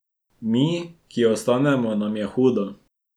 Mi, ki ostanemo, nam je hudo.